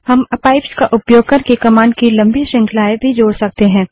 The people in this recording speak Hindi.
हम पाइप्स का उपयोग करके कमांड की लम्बी श्रृंखलाएँ भी जोड़ सकते हैं